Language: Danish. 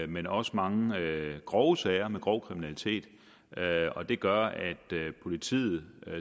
men også mange grove sager med grov kriminalitet og det gør at politiet